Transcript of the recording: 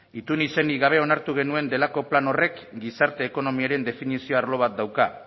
itun izenik gabe onartu genuen delako plan horrek gizarte ekonomiaren definizio arlo bat dauka